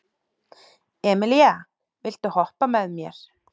Emelíana, viltu hoppa með mér?